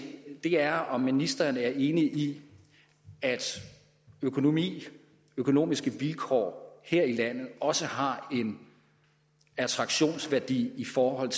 er om ministeren er enig i at økonomiske økonomiske vilkår her i landet også har en attraktionsværdi i forhold